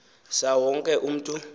saa wonke umntu